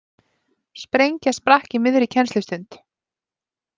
Sprengja sprakk í miðri kennslustund